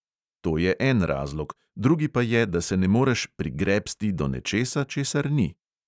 To je en razlog, drugi pa je, da se ne moreš "prigrebsti" do nečesa, česar ni.